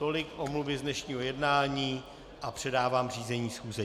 Tolik omluvy z dnešního jednání a předávám řízení schůze.